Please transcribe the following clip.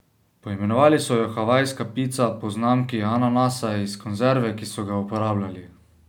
Poimenovali so jo havajska pica po znamki ananasa iz konzerve, ki so ga uporabljali.